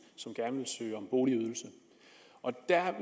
som gerne vil søge om boligydelse